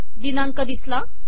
दिनांक दिसला